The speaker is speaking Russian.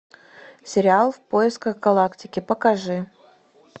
сериал в поисках галактики покажи